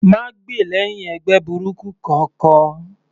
Má gbè lẹ́hìn ẹgbẹ́ burúkú kankan.